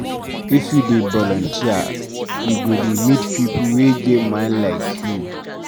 If you dey voluteer, you go dey meet pipu wey get mind like you.